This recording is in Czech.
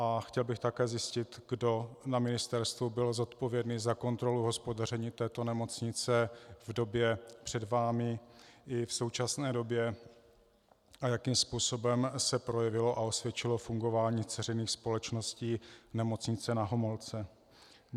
A chtěl bych také zjistit, kdo na ministerstvu byl zodpovědný za kontrolu hospodaření této nemocnice v době před vámi i v současné době a jakým způsobem se projevilo a osvědčilo fungování dceřiných společností Nemocnice Na Homolce.